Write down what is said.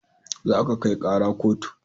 Za ka kai kara kotu